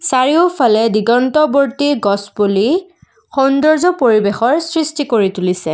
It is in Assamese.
চাৰিওফালে দিগন্তবৰ্তি গছপুলি সৌন্দৰ্য্য পৰিৱেশৰ সৃষ্টি কৰি তুলিছে।